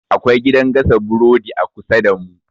Akwai gidan gasa burodi a kusa damu.